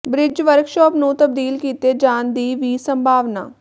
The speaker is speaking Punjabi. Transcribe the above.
ਬਿ੍ਜ ਵਰਕਸ਼ਾਪ ਨੂੰ ਤਬਦੀਲ ਕੀਤੇ ਜਾਣ ਦੀ ਵੀ ਸੰਭਾਵਨਾ